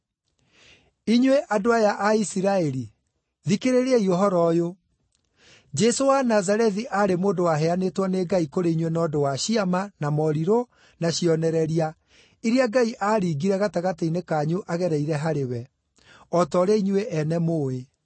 “Inyuĩ andũ aya a Isiraeli, thikĩrĩriai ũhoro ũyũ: Jesũ wa Nazarethi aarĩ mũndũ waheanĩtwo nĩ Ngai kũrĩ inyuĩ na ũndũ wa ciama, na morirũ, na cionereria, iria Ngai aaringire gatagatĩ-inĩ kanyu agereire harĩ we, o ta ũrĩa inyuĩ ene mũũĩ.